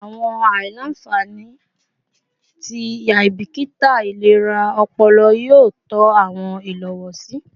Awọn aila-nfani ti aibikita ilera ọpọlọ yoo tọ awọn ilowosi